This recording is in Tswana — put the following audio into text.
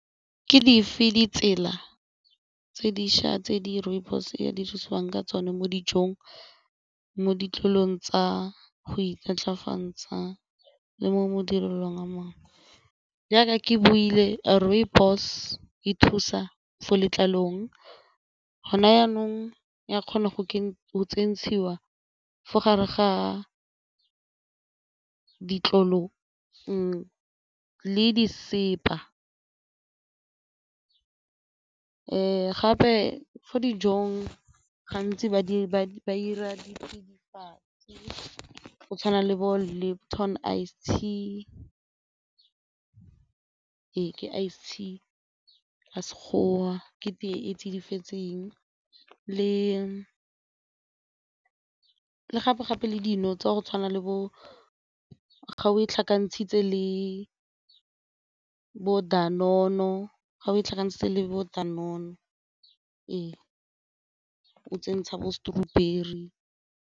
Ke dife ditsela tse dišwa tse di rooibos ya di thusiwang ka tsone mo dijong, mo ditlolong tsa go imaatlafatsa le mo modiring a mangwe? Jaaka ke buile rooibos di thusa fo letlalong gona jaanong ya kgona go ntshiwa fa gare ga ditlolo le disepa gape fo dijong gantsi ba ira pedi fa go tshwana le bo le Lipton ice tea, ee ke ice tea ka Sekgowa, ke tee e tsidifetseng le gape-gape le dino tsa go tshwana le bo ga o tlhakanntshitse le bo ga o e tlhakantse le bo fa o tsentsha bo .